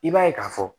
I b'a ye k'a fɔ